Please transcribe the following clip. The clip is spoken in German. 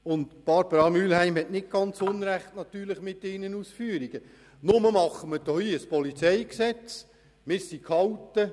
Grossrätin Mühlheim hat mit ihren Ausführungen nicht unrecht, nur beraten wir hier das PolG.